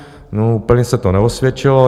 No úplně se to neosvědčilo.